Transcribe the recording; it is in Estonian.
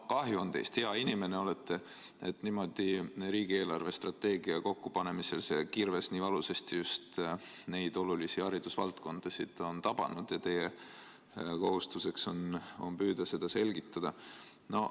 No kahju on teist, hea inimene olete, aga et niimoodi riigi eelarvestrateegia kokkupanemisel see kirves nii valusasti just neid olulisi haridusvaldkondasid on tabanud ja et teie kohustuseks on püüda seda selgitada.